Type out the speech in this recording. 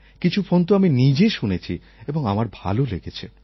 কিছু ফোন তো আমি নিজে শুনেছি এবং আমার ভালো লেগেছে